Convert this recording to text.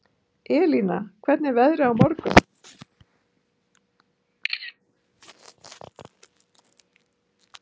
Elina, hvernig er veðrið á morgun?